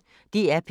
DR P1